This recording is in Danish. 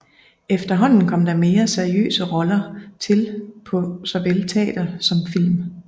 Efterhånden kom der mere seriøse roller til på såvel teater som film